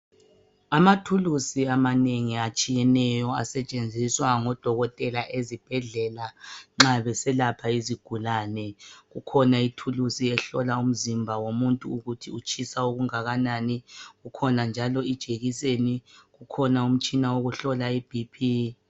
Amathulusi amanengi atshiyeneyo asetshenziswa ngoDokotela ezibhedlela nxa beselapha izigulani kukhona ithulusi ehlola umzimba womuntu ukuthi utshisa okungakanani kukhona njalo ejekiseni kukhona umtshina wokuhlola i BP.